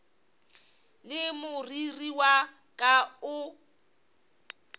le moriri wa ka o